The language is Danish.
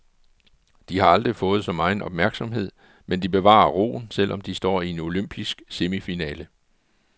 De har aldrig fået så megen opmærksomhed, men de bevarer roen, selv om de står i en olympisk semifinale.